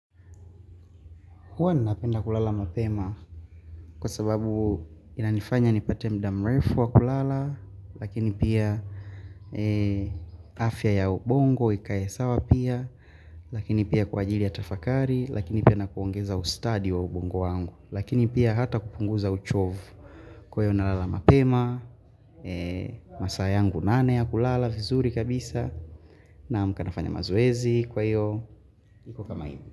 Huwa ninapenda kulala mapema kwa sababu inanifanya nipate muda mrefu wa kulala Lakini pia afya ya ubongo ikae sawa pia Lakini pia kwa ajili ya tafakari Lakini pia nakuongeza ustadi wa ubongo wangu Lakini pia hata kupunguza uchovu Kwa hiyo nalala mapema masaa yangu nane ya kulala vizuri kabisa naamka nafanya mazoezi kwa hiyo iko kama hiyo.